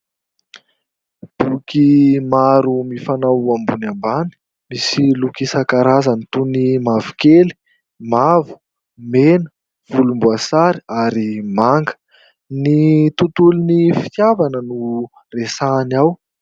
Boky maro mifanao ambony ambany, misy loko isan-karazany toy ny mavokely, mavo, mena, volomboasary ary manga. Ny tontolon'ny fitiavana no resahany ao.